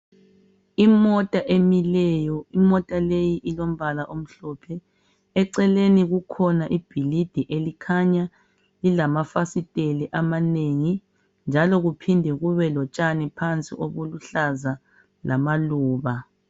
Imota emileyo, imota leyi ilombala omhlophe. Eceleni kukhona ibhilidi elikhanya lilamafasiteli amanengi njalo kuphinde kube lomtshani phansi oluhlaza lamaluba.